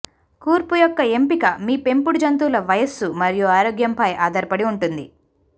కూర్పు యొక్క ఎంపిక మీ పెంపుడు జంతువుల వయస్సు మరియు ఆరోగ్యంపై ఆధారపడి ఉంటుంది